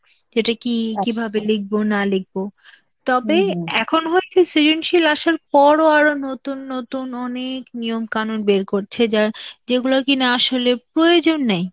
যেটা কি কিভাবে লিখব না লিখব. তবে এখন হচ্ছে সৃজনশীল আশার পরও আরো নতুন নতুন অনেক নিয়ম-কানুন বের করছে যার~ যেগুলো কি না আসলে প্রয়োজন নেই.